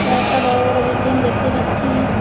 কয়েকটা বড় বড় বিল্ডিং দেখতে পাচ্ছি।